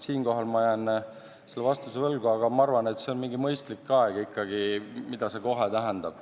Siinkohal ma jään vastuse võlgu, aga ma arvan, et see on mingi mõistlik aeg ikkagi, mida see "kohe" tähendab.